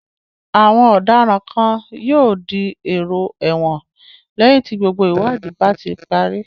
Àwọn ọ̀daràn kan yóò di èrò ẹ̀wọ̀n lẹ́yìn tí gbogbo ìwádìí bá ti parí.